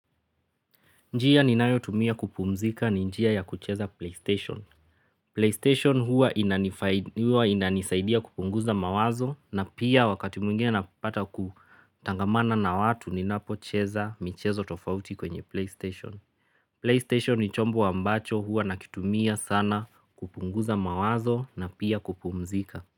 Njiya ni nayo tumia kupumzika ni njiya ya kucheza PlayStation. PlayStation huwa inanisaidia kupunguza mawazo na pia wakati mwingine na pata kutangamana na watu ni napocheza michezo tofauti kwenye PlayStation. PlayStation ni chombo ambacho huwa nakitumia sana kupunguza mawazo na pia kupumzika.